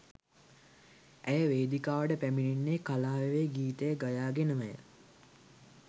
ඇය වේදිකාවට පැමිණෙන්නේ කලා වැවේ ගීතය ගයා ගෙනමය